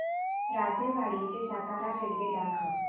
राजेवाडी ते सातारा रेल्वे दाखव